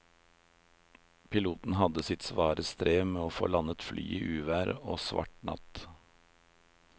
Piloten hadde sitt svare strev med å få landet flyet i uvær og svart natt.